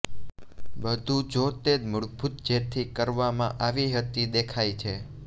બધું જો તે મૂળભૂત જેથી કરવામાં આવી હતી દેખાય છે